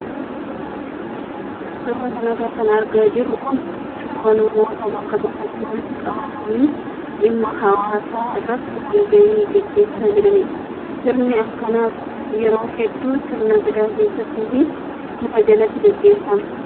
Suuraa kanarra kan argaa jirru kun suuraa namoota bakka tokkotti walitti qabamanii dhimma hawaasaa irratti wal gahii gaggeessaa jiranidha. Sirni akkanaa yeroo hedduu sirna gadaa keessatti fi muka jalatti gageeffama.